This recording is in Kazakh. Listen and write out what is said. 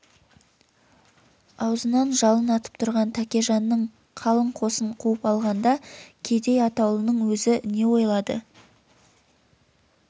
аузынан жалын атып тұрған тәкежанның қалың қосын қуып алғанда кедей атаулының өзі не ойлады